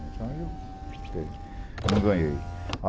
Então, eu não ganhei.